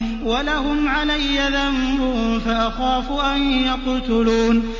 وَلَهُمْ عَلَيَّ ذَنبٌ فَأَخَافُ أَن يَقْتُلُونِ